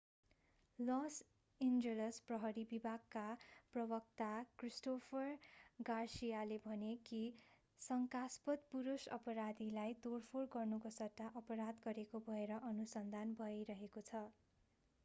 loss Angeles प्रहरी विभागका प्रवक्ता क्रिस्टोफर गार्सियाले भने कि शंकास्पद पुरूष अपराधीलाई तोडफोड गर्नुको सट्टा अपराध गरेको भएर अनुसन्धान भइरहेको छ